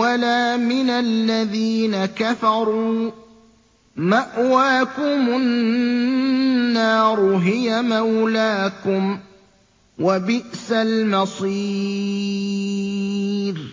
وَلَا مِنَ الَّذِينَ كَفَرُوا ۚ مَأْوَاكُمُ النَّارُ ۖ هِيَ مَوْلَاكُمْ ۖ وَبِئْسَ الْمَصِيرُ